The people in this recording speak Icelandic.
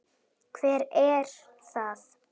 Hver er það?